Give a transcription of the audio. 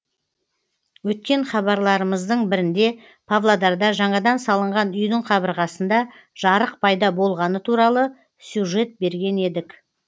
өткен хабарларымыздың бірінде павлодарда жаңадан салынған үйдің қабырғасында жарық пайда болғаны туралы сюжет берген едік